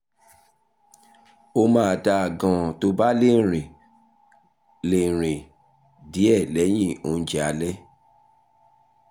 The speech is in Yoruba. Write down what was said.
ó máa dáa gan-an tó o bá lè rìn lè rìn díẹ̀ lẹ́yìn oúnjẹ alẹ́